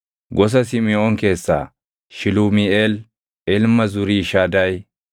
gosa Simiʼoon keessaa Shilumiiʼeel ilma Zuriishadaayi;